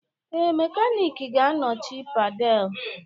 Ee, mekaniki ga-anọchi pedal